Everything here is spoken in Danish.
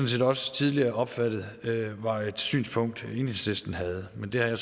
set også tidligere opfattet var et synspunkt som enhedslisten havde men det har jeg